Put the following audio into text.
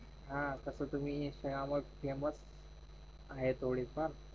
हा तस तुम्ही आहे थोडी फार